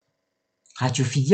Radio 4